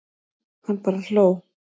Hann bara hló.